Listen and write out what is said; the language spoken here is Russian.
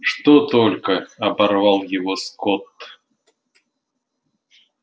что только оборвал его скотт